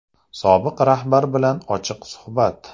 Sobiq rahbar bilan ochiq suhbat.